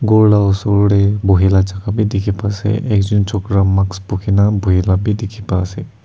kor la usor tey bohya laka jaka beh dekhe pa ase ek jun chokra mask pukhe kena beh dekhe pai ase.